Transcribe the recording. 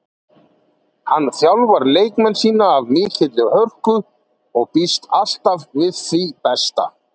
Hann þjálfar leikmenn sína af mikilli hörku og býst alltaf við því besta.